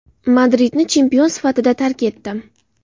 Madridni chempion sifatida tark etdim.